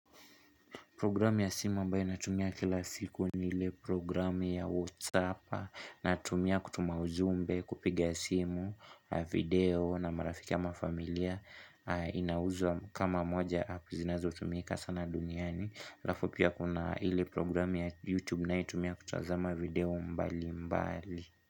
Programu ya simu ambayo natumia kila siku ni ile programu ya Whatsapp Natumia kutuma ujumbe kupiga simu, video na marafiki ama familia Inauzwa kama moja ya app zinazo tumika sana duniani alafu pia kuna hili programu ya YouTube ninayo tumia kutazama video mbali mbali.